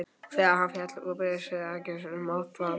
Þegar hann féll útbyrðis virtist hann gersamlega máttvana.